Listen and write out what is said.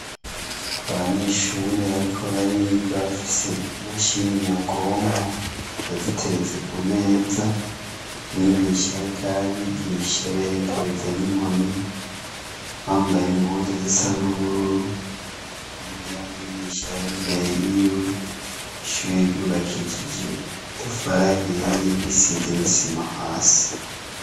Abanyeshure bariko bariga bafise imashini nyabwonko, baziteretse kumeza, mwigisha ariko arabigisha aberekereza n'inkoni, bambaye impuzu zisa n'ubururu, intebe ya mwigisha yar'imbere yiwe, ishure ryubakishije amatafari ahiye , risize n'isima hasi.